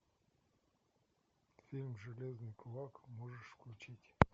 фильм железный кулак можешь включить